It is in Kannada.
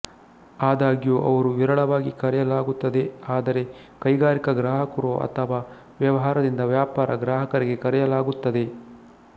ಆದಾಗ್ಯೂ ಅವರು ವಿರಳವಾಗಿ ಕರೆಯಲಾಗುತ್ತದೆ ಆದರೆ ಕೈಗಾರಿಕಾ ಗ್ರಾಹಕರು ಅಥವಾಾ ವ್ಯವಹಾರದಿಂದ ವ್ಯಾಪಾರ ಗ್ರಾಹಕರಿಗೆ ಕರೆಯಲಾಗುತ್ತದೆ